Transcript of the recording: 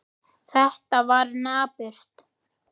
Þetta var napurt.